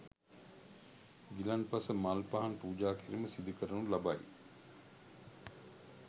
ගිලන්පස මල් පහන් පූජාකිරීම සිදුකරනු ලබයි.